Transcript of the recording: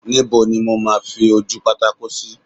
Níbo ni mo máa fi ojúpátákó sí?